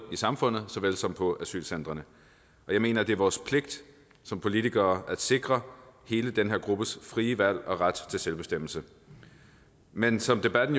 samfundet såvel som på asylcentrene jeg mener det er vores pligt som politikere at sikre hele den her gruppes frie valg og ret til selvbestemmelse men som debatten